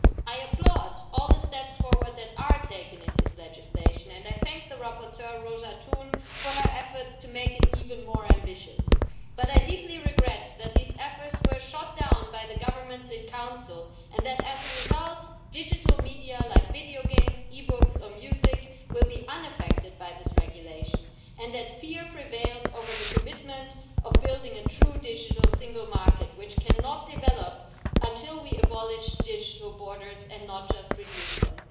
I applaud all the steps forward that have been taken in this legislation, and I thank the rapporteur Róża Thun for her efforts to make it even more ambitious, but I deeply regret that these efforts were shot down by the governments in Council and that, as a result, digital media, like video games, e-books or music, will be unaffected by this regulation, and that fear prevailed over the commitment to building a true digital single market, which cannot develop until we abolish digital borders and not just reduce them.